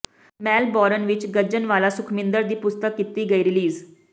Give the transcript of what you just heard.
Melbourne ਵਿਚ ਗੱਜਣਵਾਲਾ ਸੁਖਮਿੰਦਰ ਦੀ ਪੁਸਤਕ ਕੀਤੀ ਗਈ ਰਿਲੀਜ਼